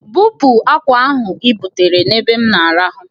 Bupu akwa ahụ ibutere n'ebe m na-arahụ!